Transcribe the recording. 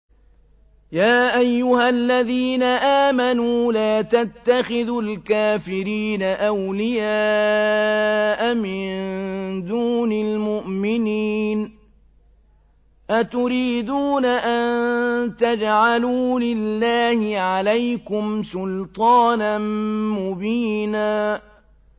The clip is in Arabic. يَا أَيُّهَا الَّذِينَ آمَنُوا لَا تَتَّخِذُوا الْكَافِرِينَ أَوْلِيَاءَ مِن دُونِ الْمُؤْمِنِينَ ۚ أَتُرِيدُونَ أَن تَجْعَلُوا لِلَّهِ عَلَيْكُمْ سُلْطَانًا مُّبِينًا